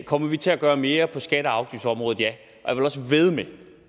kommer vi til at gøre mere på skatte og afgiftsområdet ja